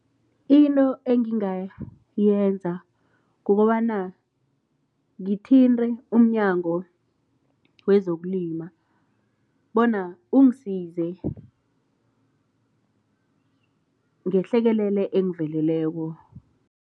Into engingayenza kukobana ngithinte umNyango wezokuLima bona ungisize ngehlekelele engiveleleko.